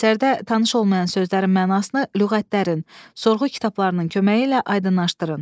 Əsərdə tanış olmayan sözlərin mənasını lüğətlərin, sorğu kitablarının köməyi ilə aydınlaşdırın.